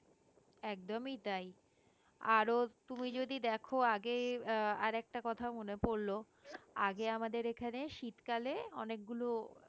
একদমই তাই আরো তুমি যদি দেখো আগে আহ আরেকটা কথা মনে পড়ল আগে আমাদের এখানে শীতকালে অনেকগুলো